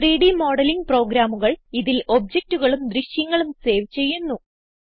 3ഡ് modelling പ്രോഗ്രാമുകൾ ഇതിൽ ഒബ്ജക്റ്റുകളും ദൃശ്യങ്ങളും സേവ് ചെയ്യുന്നു